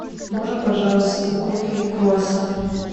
можно пожалуйста кофе и круассан